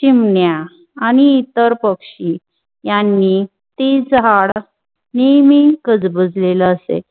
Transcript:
चिमण्या आणि इतर पक्षी यांनी ती झाड नेमी कजबझेल असेल.